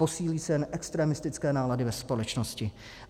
Posílí se jen extremistické nálady ve společnosti.